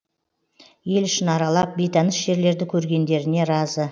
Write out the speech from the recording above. ел ішін аралап бейтаныс жерлерді көргендеріне разы